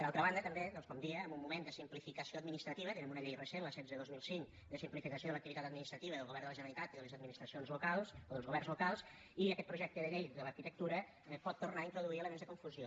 per altra banda també doncs com deia en un moment de simplificació administrativa tenim una llei recent la setze dos mil cinc de simplificació de l’activitat administrativa del govern de la generalitat i de les administracions locals o dels governs locals i aquest projecte de llei de l’arquitectura pot tornar a introduir elements de confusió